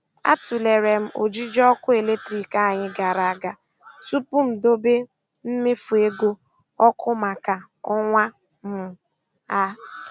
A tụlere m ojiji ọkụ eletrik anyị gara aga tupu m dobe mmefu ego ọkụ maka um ọnwa um a.